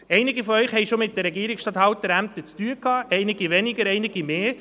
Einige von Ihnen hatten schon mit den Regierungsstatthalterämtern zu tun, einige weniger, einige mehr.